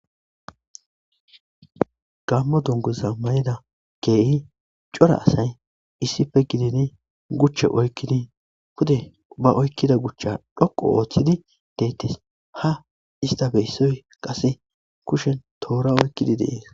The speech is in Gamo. Gammo dunguza mayida keehi cora asay issife gidini guchche oykkini hude ubba oykkida guchcha dhoqo ooththidi deettes ha ista beyssoy qase kushen toora oykkidi deees.